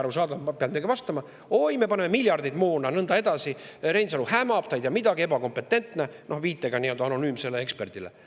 Arusaadav, peab midagi ju ka vastama, et oi, me paneme miljardeid moona ja nõnda edasi, et Reinsalu hämab, ta ei tea midagi, on ebakompetentne, noh, viitega nii-öelda anonüümsele eksperdile.